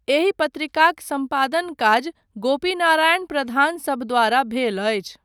एहि पत्रिकाक सम्पादन काज गोपीनारायण प्रधान सभद्वारा भेल अछि ।